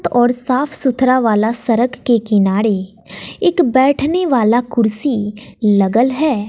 और साफ सुथरा वाला सड़क के किनारे एक बैठने वाला कुर्सी लगल है।